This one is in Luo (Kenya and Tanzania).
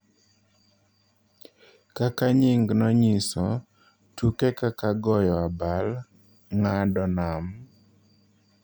Kaka nyingno nyiso, tuke kaka goyo abal, ng�ado nam,